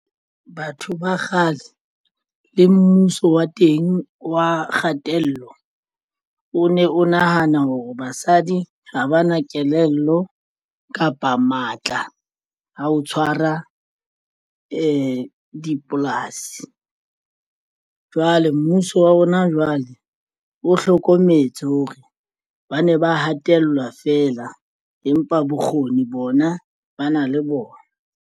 Batho ba kgale le mmuso wa teng wa kgatello. O ne o nahana hore basadi ha ba na kelello kapa matla a ho tshwara di dipolasi. Jwale mmuso wa hona jwale o hlokometse hore ba ne ba hatellwa fela, empa bokgoni bona ba na le bona.